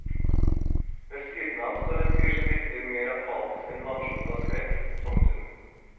Ved siden av står en fyr som virker mer apatisk enn lamslått av skrekk. punktum